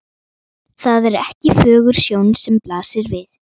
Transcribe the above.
Það er ekki fögur sjón sem blasir við.